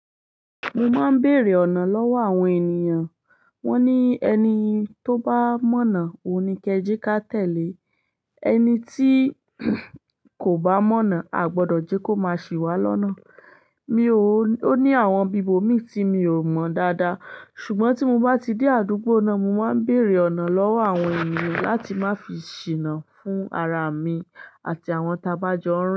Mo máa ń bèèrè ọ̀nà lọ́wọ́ àwọn ènìyàn. Wọ́n ní ẹni tó bá mọ̀nà, òun ni kẹjẹ́ ká tẹ̀lé. Ẹni tí kò bá mọ̀nà, a ò gbọdọ̀ jẹ́ kó ma sì wá lọ́nà. Mi ò, ó ní àwọn bibò míì tí mi ò mọ̀ dáadáa. Ṣùgbọ́n tí mo bá ti dé àdúgbò náà, mo máa ń bèèrè ọ̀nà lọ́wọ́ àwọn ènìyàn láti má fi ṣìnà fún ara à mi àti àwọn t'abá jọ ń rìn.